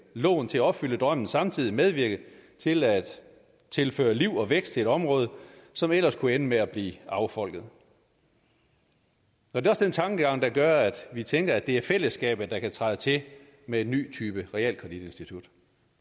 lån til at opfylde drømmen samtidig medvirke til at tilføre liv og vækst i et område som ellers kunne ende med at blive affolket det er den tankegang der gør at vi tænker at det er fællesskabet der kan træde til med en ny type realkreditinstitut